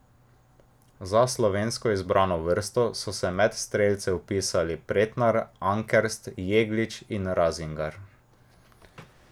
Za slovensko izbrano vrsto so se med strelce vpisali Pretnar, Ankerst, Jeglič in Razingar.